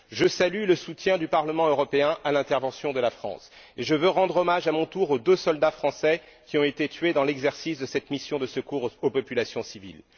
Je salue le soutien du Parlement européen à l'intervention de la France et je veux rendre hommage, à mon tour, aux deux soldats français qui ont été tués dans l'exercice de cette mission de secours aux populations civiles.